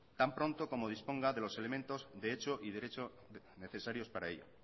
tan pronto como disponga de los elementos de hecho y derecho necesarios para ello